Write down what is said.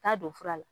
Taa don fura la